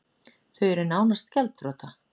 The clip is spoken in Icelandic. Þau eru nánast gjaldþrota